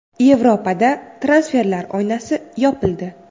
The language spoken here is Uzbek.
Yevropada transferlar oynasi yopildi.